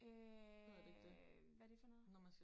Øh hvad det for noget?